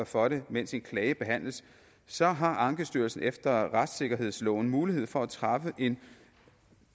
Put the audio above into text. for det mens en klage behandles så har ankestyrelsen efter retssikkerhedsloven mulighed for at træffe en